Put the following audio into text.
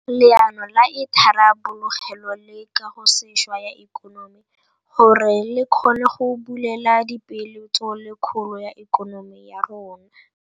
Leano la Itharabologelo le Kagosešwa ya Ikonomi gore le kgone go bulela dipeeletso le kgolo ya ikonomi ya rona.